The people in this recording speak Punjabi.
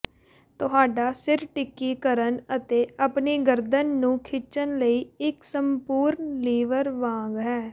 ਤੁਹਾਡਾ ਸਿਰ ਟਿੱਕੀ ਕਰਨ ਅਤੇ ਆਪਣੀ ਗਰਦਨ ਨੂੰ ਖਿੱਚਣ ਲਈ ਇੱਕ ਸੰਪੂਰਣ ਲੀਵਰ ਵਾਂਗ ਹੈ